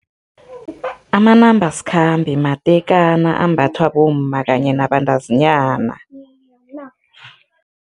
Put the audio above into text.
Amanambasikhambe matekana ambathwa bomma kanye nabantazinyana.